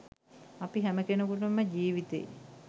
අපි හැම කෙනෙකුටම ජීවිතේ